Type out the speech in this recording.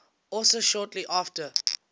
also shortly after